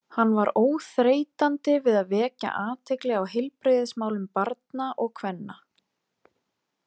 Hann var óþreytandi við að vekja athygli á heilbrigðismálum barna og kvenna.